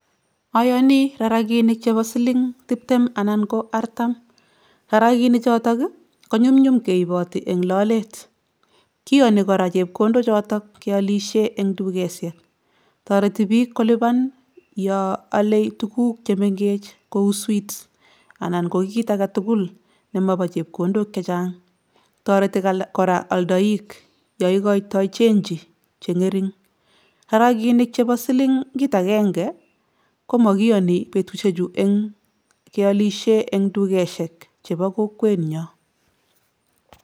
Ayani rarakinik chebo siling tiptem anan ko artam, rarakini choto konyumnyum keiboti eng lolet, kiyoni kora chepkondochoto kealise eng dukesiek, toreti piik kolipan yo ole tuguk che mengech kou sweets anan ko kiit alak tugul nemobo chepkondok che chang, toreti kora aldoik yo ikoitoi chenji che ngering, rarakinik chebo silingit akenge ko makiyoni betusiechu eng kealisie eng dukesiek chebo kokwenyo.